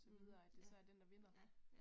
Mh ja ja ja